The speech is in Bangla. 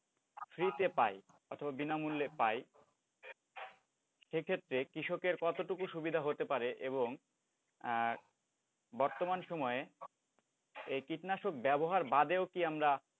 free তে পাই অথবা বিনামূল্যে পাই সেক্ষেত্রে কৃষকের কতটুকু সুবিধা হতে পারে এবং বর্তমান সময়ে এই কীটনাশক ব্যবহার বাদেও কি আমরা,